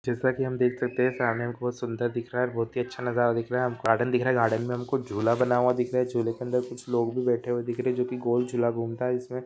जैसा की हम देख सकते है सामने बहुत सुदर दिख रहा है बहुत ही अच्छा नज़ारा दिख रहा है गार्डन दिख रहा है गार्डन मे हमको झूला बना हुआ दिख रहा है झूले के अदर कुछ लोग भी बैठे हुए दिख रहा है जोकि गोल झूला घूमता जिसमे--